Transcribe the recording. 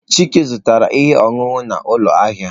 Chike zụtara ihe ọṅụṅụ n'ụlọ ahịa.